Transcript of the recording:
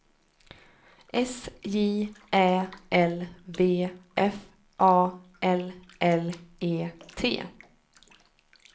S J Ä L V F A L L E T